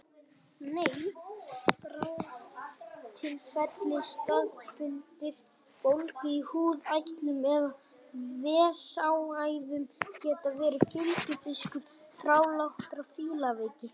Bráðatilfelli staðbundinnar bólgu í húð, eitlum eða vessaæðum geta verið fylgifiskur þrálátrar fílaveiki.